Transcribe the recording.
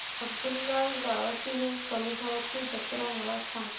अब्दुललाट गावातील कलेश्वराची जत्रा मला सांग